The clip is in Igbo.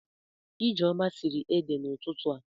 Ijeoma siri ede n'ututu a.